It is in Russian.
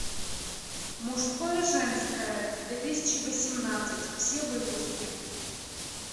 мужское женское две тысячи восемнадцать все выпуски